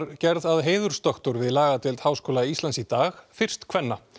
gerð að heiðursdoktor við lagadeild Háskóla Íslands í dag fyrst kvenna